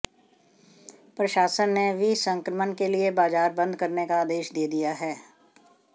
प्रशासन ने विसंक्रमण के लिए बाजार बंद करने का आदेश दे दिया है